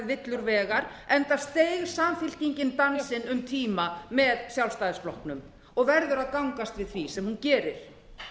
villur vegar enda steig samfylkingin dansinn um tíma með sjálfstæðisflokknum og verður að gangast við því sem hún gerir